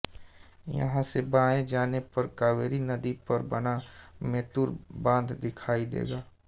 यहां से बाएं जाने पर कावेरी नदी पर बना मेत्तूर बांध दिखाई देगा